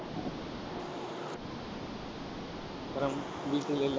அப்புறம் வீட்டில் எல்லா~